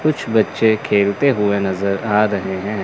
कुछ बच्चे खेलते हुए नजर आ रहे हैं।